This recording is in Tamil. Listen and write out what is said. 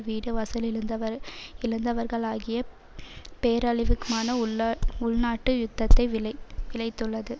வீடு வாசல் இழந்தவர் இழந்தவர்களாகிய பேரழிவுக்மான உள உள்நாட்டு யுத்ததையும் விளை விளைத்துள்ளது